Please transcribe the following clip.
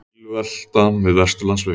Bílvelta við Vesturlandsveg